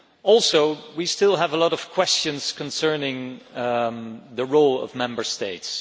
Also we still have a lot of questions concerning the role of Member States.